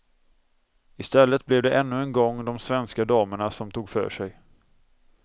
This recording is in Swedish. I stället blev det ännu en gång de svenska damerna som tog för sig.